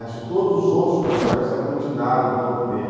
Acho que todos os outros personagens se aglutinaram em torno dele.